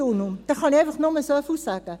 Dazu kann ich nur so viel sagen: